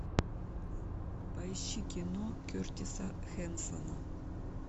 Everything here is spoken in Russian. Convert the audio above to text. поищи кино кертиса хэнсона